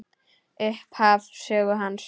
Upphaf sögu hans.